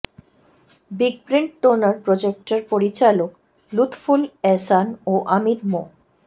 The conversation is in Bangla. বিগপ্রিন্ট টোনার প্রজেক্টের পরিচালক লুৎফুল এহসান ও আমির মো